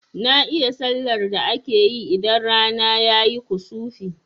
Na iya sallar da akeyi idan rana ayi kusufi